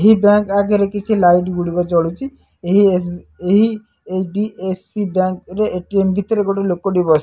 ଏହି ବ୍ୟାଙ୍କ୍ ଆଗରେ କିଛି ଲାଇଟ୍ ଗୁଡ଼ିକ ଜଳୁଚି। ଏହି ଏସ୍ ଏସ୍_ଡି_ଏଫ୍_ସି ବ୍ୟାଙ୍କ୍ ରେ ଏ_ଟି_ଏମ୍ ଭିତରେ ଗୋଟେ ଲୋକ ଟେ ବସ୍ --